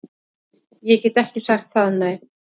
Ég get ekki sagt það, nei